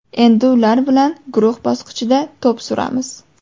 Endi ular bilan guruh bosqichida to‘p suramiz.